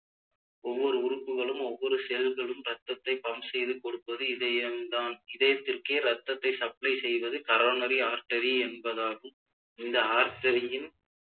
ஒவ்வொரு உறுப்புகளும் ஒவ்வொரு செயல்களும் இரத்தத்தை pump செய்து கொடுப்பது இதயம்தான் இதயத்திற்கே இரத்தத்தை supply செய்வது coronary artery என்பதாகும் இந்த artery ன்